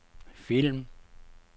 film